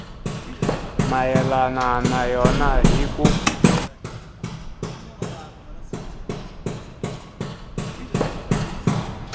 mayelana na yona hi ku